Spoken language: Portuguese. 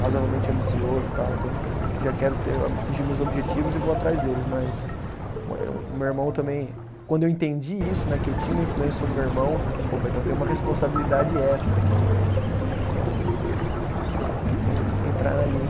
razoavelmente ambicioso e tal, então já quero ter atingir meus objetivos e vou atrás deles, mas o meu irmão também, quando eu entendi isso, né, que eu tinha uma influência sobre o meu irmão, opa, então tem uma responsabilidade extra aqui, né, então vamos vamos entrar na linha